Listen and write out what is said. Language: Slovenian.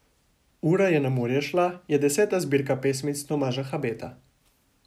Ura je na morje šla je deseta zbirka pesmic Tomaža Habeta.